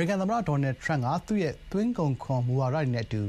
ရိကန် သမ္မတ Donald Trump က သူ့ရဲ့ သွင်းကုန်ခွန် မူဝါဒတွေနဲ့ အတူ